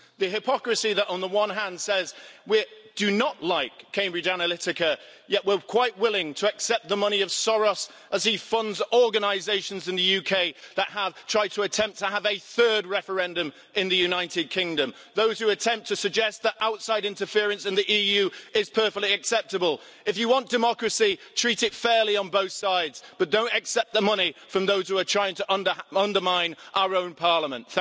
The hypocrisy that, on the one hand, says we do not like Cambridge Analytica yet we're quite willing to accept the money of Soros as he funds organisations in the UK that have tried to attempt to have a third referendum in the United Kingdom. Those who attempt to suggest that outside interference in the EU is perfectly acceptable if you want democracy, treat it fairly on both sides, but don't accept the money from those who are trying to undermine our own Parliament.